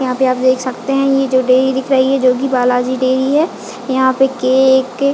यहाँ पे आप देख सकते हैं ये जो डेरी दिख रही है जो कि बालाजी डेरी है यहाँ पर केक --